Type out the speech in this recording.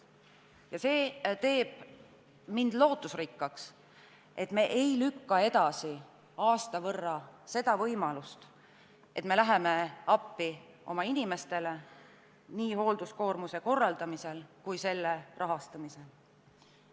Ja see teeb mind lootusrikkaks, et me ei lükka aasta võrra edasi võimalust minna appi oma inimestele nii hoolduskoormuse korraldamisel kui ka selle rahastamisel.